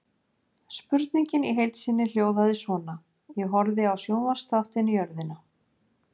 Spurningin í heild sinni hljóðaði svona: Ég horfði á sjónvarpsþáttinn Jörðina.